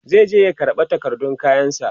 zai je ya karɓa takardun kayan sa